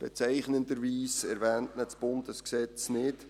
Bezeichnenderweise erwähnt ihn das Bundesgesetz nicht.